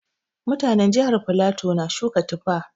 Mutanin jihar flatu na suka Tufa